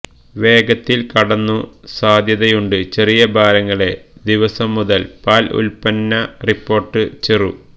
വേഗത്തിൽ കടന്നു സാധ്യതയുണ്ട് ചെറിയ ഭാരങ്ങളെ ദിവസംമുതൽ പാൽ ഉൽപ്പന്ന റിപ്പോർട്ട് ചെറു